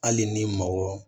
Hali ni mɔgɔ